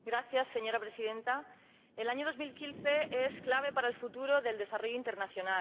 Señora Presidenta, el año 2015 es clave para el futuro del desarrollo internacional.